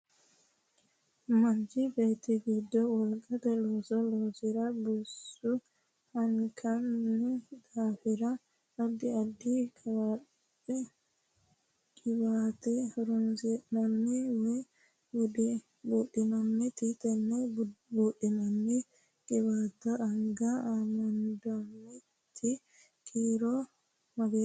Manchi beeti gogi wolqate looso loosiro bisu hunkaanno daafira addi addi qiwaate horoonsi'nanni woyi buudhinnanni tenne buudhinnanni qiwaate anga amondoonniti kiiro mageeshite?